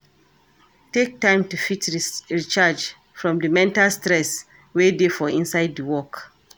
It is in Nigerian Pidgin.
take time to fit recharge from di mental stress wey dey for inside di work